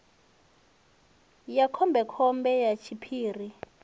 ya khombe khombe ya tshiphiri